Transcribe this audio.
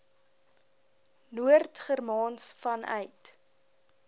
noord germaans vanuit